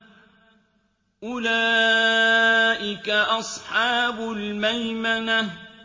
أُولَٰئِكَ أَصْحَابُ الْمَيْمَنَةِ